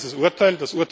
Das sagt dieses Urteil.